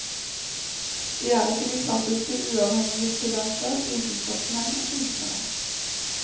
De er ikke de klassiske uavhengige skribenter, vitenskapsmenn og kunstnere.